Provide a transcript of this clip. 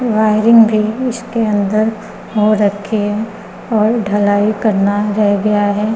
Wiring भी इसके अंदर हो रखी है और ढलाई करना रह गया है।